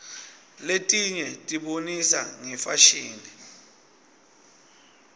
letinye tibonisa ngefasihni